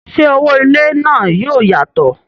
ṣé owó ilé náà yóò yàtọ̀?